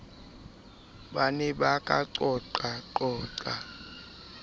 ba ne ba ka qoqaqoqa